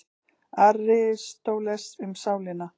Aristóteles, Um sálina.